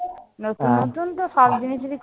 নতুন নতুন তো সব জিনিসেরই